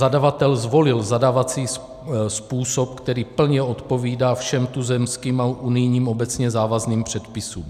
Zadavatel zvolil zadávací způsob, který plně odpovídá všem tuzemským a unijním obecně závazným předpisům.